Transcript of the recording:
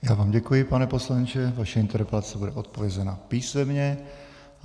Já vám děkuji, pane poslanče, vaše interpelace bude odpovězena písemně.